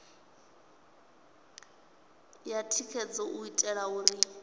ya thikhedzo u itela uri